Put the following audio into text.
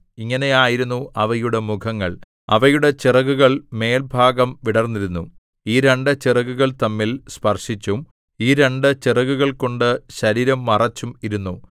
ഇങ്ങനെയായിരുന്നു അവയുടെ മുഖങ്ങൾ അവയുടെ ചിറകുകൾ മേൽഭാഗം വിടർന്നിരുന്നു ഈ രണ്ടു ചിറകുകൾ തമ്മിൽ സ്പർശിച്ചും ഈ രണ്ടു ചിറകുകൾകൊണ്ട് ശരീരം മറച്ചും ഇരുന്നു